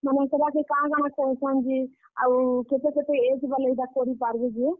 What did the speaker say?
ମାନେ ସେଟାକେ କାଣା କାଣା କହୁଛନ୍ ଯେ, ଆଉ, କେତେ କେତେ age ବାଲେ ଇଟା କରି ପାର୍ ବେ ଯେ?